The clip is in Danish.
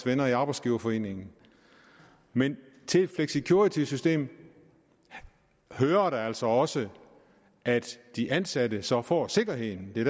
venner i arbejdsgiverforeningen men til flexicuritysystemet hører der altså også at de ansatte så får sikkerheden det